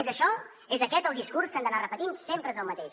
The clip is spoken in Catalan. és això és aquest el discurs que han d’anar repetint sempre és el mateix